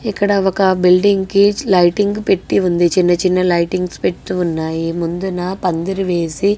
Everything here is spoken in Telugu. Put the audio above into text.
ఇక్కడ ఒక బిల్డింగ్ కి లైటింగ్ పెట్టి ఉంద. చిన్న చిన్న లైటింగ్స్ పెట్టి ఉన్నాయి.ముందు నా పందిరి వేసి--